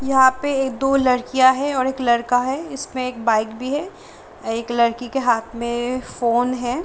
यहाँ पे एक दो लड़कियाँ है और एक लड़का है इसमें एक बाइक भी है एक लड़की के हाथ में फ़ोन है ।